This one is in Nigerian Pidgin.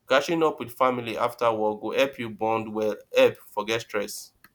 catching up with family after work go help you bond well help forget stress